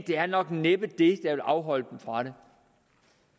det er nok næppe det vil afholde dem fra det